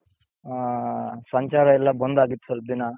ಹಾ ಸಂಚಾರ ಎಲ್ಲಾ ಬಂದ್ ಆಗಿತ್ತು ಸ್ವಲ್ಪ ದಿನ.